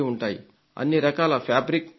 అన్ని రకాల ఫ్యాబ్రిక్ ఉంటుంది